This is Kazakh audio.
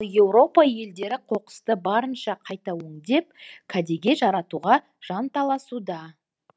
еуропа елдері қоқысты барынша қайта өңдеп кәдеге жаратуға жанталасуда